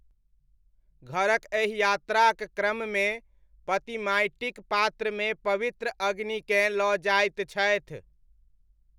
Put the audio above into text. घरक एहि यात्राक क्रममे पति माटिक पात्रमे पवित्र अग्निकेँ लऽ जाइत छथि।